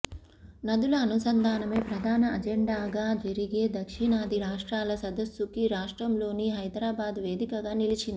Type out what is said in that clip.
నదుల అనుసంధానమే ప్రధాన అజెండగా జరిగే దక్షిణాది రాష్ట్రాల సదస్సుకు రాష్ట్రంలోని హైదరాబాద్ వేదికగా నిలిచింది